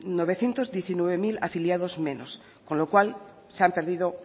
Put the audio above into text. novecientos diecinueve mil afiliados menos con lo cual se han perdido